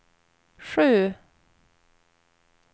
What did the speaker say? sju